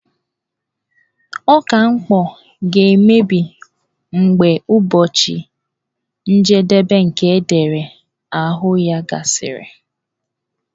Ọka mkpọ ga-emebi mgbe ụbọchị njedebe nke edere n'ahụ ya gasịrị.